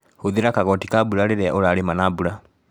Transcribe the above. Hũthĩra kagoti ka mbura rĩria ũrarĩma na mbura.